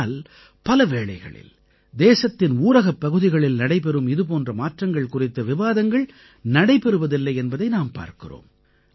ஆனால் பல வேளைகளில் தேசத்தின் ஊரகப்பகுதிகளில் நடைபெறும் இதுபோன்ற மாற்றங்கள் குறித்த விவாதங்கள் நடைபெறுவதில்லை என்பதை நாம் பார்க்கிறோம்